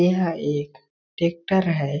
एहा एक ट्रैक्टर है ।